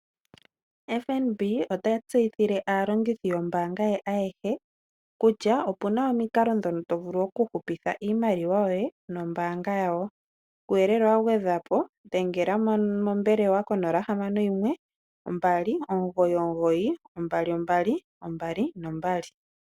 FNB ota tseyithile aalongithi yombanga ye ayehe kutya opu na omikalo ndhono to vulu okuhupitha iimaliwa yoye nombanga yawo kuuyelele wa gwedhwapo dhengela mombelewa ko 0612992222.